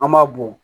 An b'a bɔn